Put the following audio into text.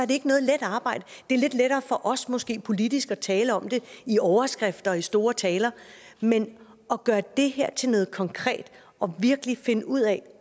det ikke noget let arbejde det er lidt lettere for os måske politisk er tale om det i overskrifter og i store taler men at gøre det her til noget konkret og virkelig finde ud af